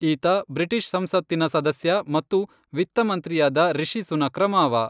ಈತ ಬ್ರಿಟಿಷ್ ಸಂಸತ್ತಿನ ಸದಸ್ಯ ಮತ್ತು ವಿತ್ತ ಮಂತ್ರಿಯಾದ ರಿಷಿ ಸುನಕ್ರ ಮಾವ.